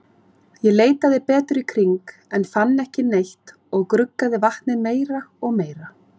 Ég leitaði betur í kring, en fann ekki neitt og gruggaði vatnið meira og meira.